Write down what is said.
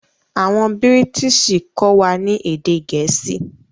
Awọn Bírìtísì kọ wà ni èdè Gẹẹsi